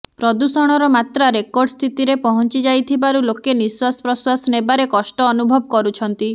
ପ୍ରଦୂଷଣର ମାତ୍ରା ରେକର୍ଡ ସ୍ଥିତିରେ ପହଞ୍ଚିଯାଇଥିବାରୁ ଲୋକେ ନିଶ୍ୱାସ ପ୍ରଶ୍ୱାସ ନେବାରେ କଷ୍ଟ ଅନୁଭବ କରୁଛନ୍ତି